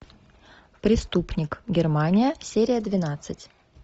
преступник германия серия двенадцать